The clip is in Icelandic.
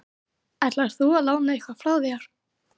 Ætlar þú að lána eitthvað frá þér?